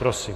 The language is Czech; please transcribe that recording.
Prosím.